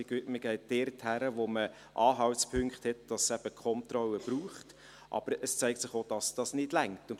man geht also dorthin, wo man Anhaltspunkte hat, dass es eben Kontrollen braucht, aber es zeigt sich auch, dass dies nicht reicht.